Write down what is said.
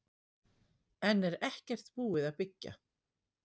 Enn er ekkert búið að byggja